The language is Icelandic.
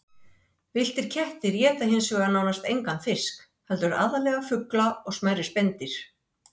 Það aftók ég með öllu.